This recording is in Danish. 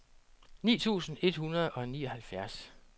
ni tusind et hundrede og nioghalvfjerds